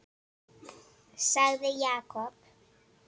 sagði Jakob.